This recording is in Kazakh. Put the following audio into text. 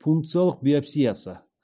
пункциялық биопсиясы